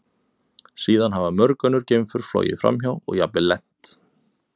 Síðan hafa mörg önnur geimför flogið framhjá og jafnvel lent.